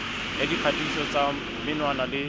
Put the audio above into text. ya dikgatiso tsa menwana le